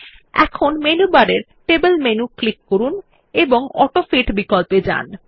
এখন মেনুবারের table menu click করুন এবং অটোফিট বিকল্প এ যান